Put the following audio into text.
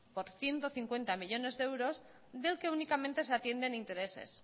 por ciento cincuenta millónes de euros del que únicamente se atienden intereses